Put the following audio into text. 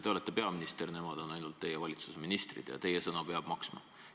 Te olete peaminister, nemad on ainult teie valitsuse ministrid ja teie sõna peab maksma.